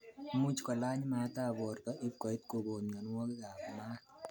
Imuch kolany maat ab borto ibkoit kokon myonwogikab maat